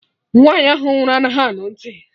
Nwaanyi ahụ nwụrụ anaghị anụ ntị